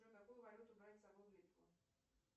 джой какую валюту брать с собой в литву